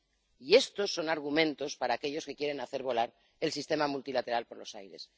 Y estos son argumentos para aquellos que quieren hacer volar el sistema multilateral por los aires